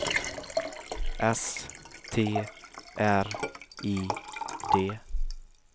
S T R I D